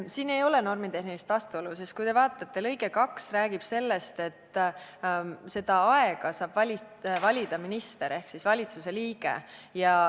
Siin ei ole normitehnilist vastuolu, sest lõige 2 räägib sellest, et seda aega saab valida minister ehk valitsuse liige.